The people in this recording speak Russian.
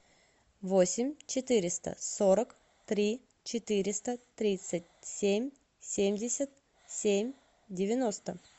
восемь четыреста сорок три четыреста тридцать семь семьдесят семь девяносто